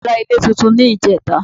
Bàbá ra ilé túntún ní ìjẹ́ta